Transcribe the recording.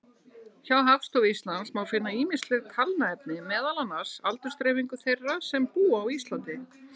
Hjá Hagstofu Íslands má finna ýmislegt talnaefni, meðal annars aldursdreifingu þeirra sem búa á Íslandi.